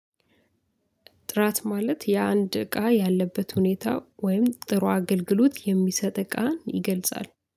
ጥራት ማለት የአንድ እቃ ያለበት ሁኔታ ወይም ጥሩ አገልግሎት የሚሰጥ እቃን ይገልጻል።